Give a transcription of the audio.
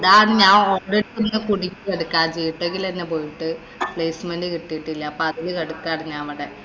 ഡാ, ഞാന്‍ gtech ല് തന്നെ പോയിട്ട് placement കിട്ടിയിട്ടില്ല. അപ്പൊ അതില് കെടക്കാരുന്നു അവിടെ.